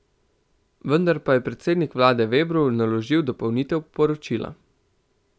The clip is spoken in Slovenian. Vendar pa je predsednik vlade Vebru naložil dopolnitev poročila.